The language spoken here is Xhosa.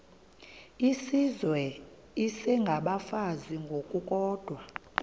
izizwe isengabafazi ngokukodwa